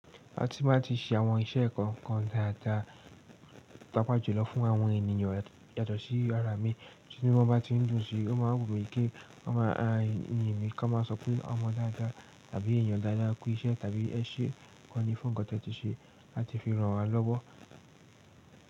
A tí máa ti ṣe àwọn iṣẹ́ kọ̀ọ̀kan dáadáa paapá jùlọ fún àwọn ènìyàn yàtọ̀ sí ara mi, tínu wọ́n bá ti ń dùn sí i, o máa wumi ki wọ́n máa yin mi, kán má a sọ pé ọmọ dáadáa tàbí èèyàn dáadáa kú iṣẹ́ tàbí ẹ ṣe gan ní fún nǹkan tí ẹ ti ṣe láti fi ràn wa lọ́wọ́.